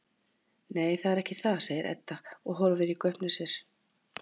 Nei, það er ekki það, segir Edda og horfir í gaupnir sér.